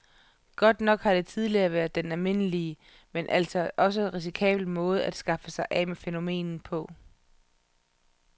Godt nok har det tidligere været den almindelige, men altså også risikable måde at skaffe sig af med fænomenet på.